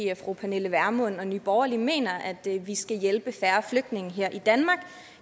at fru pernille vermund og nye borgerlige mener at vi skal hjælpe færre flygtninge her i danmark